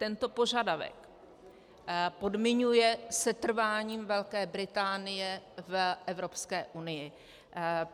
Tento požadavek podmiňuje setrváním Velké Británie v Evropské unii.